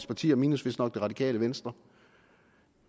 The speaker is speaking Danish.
partier minus vist nok det radikale venstre